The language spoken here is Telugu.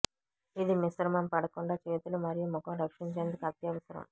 ఇది మిశ్రమం పడకుండా చేతులు మరియు ముఖం రక్షించేందుకు అత్యవసరం